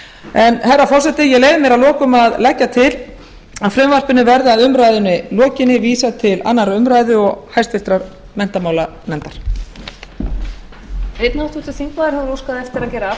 en herra forseti ég leyfi ég mér að lokum að leggja til að frumvarpinu verði að umræðunni lokinni vísað til annarrar umræðu og háttvirtur menntamálanefndar